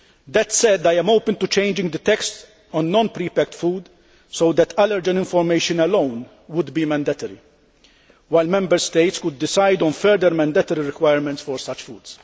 That said, I am open to changing the text on non prepacked food so that allergen information alone would be mandatory, while Member States could decide on further mandatory requirements for such food.